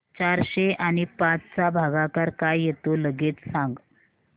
चारशे आणि पाच चा भागाकार काय येतो लगेच सांग